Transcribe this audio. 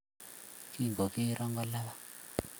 Kingogero kolabat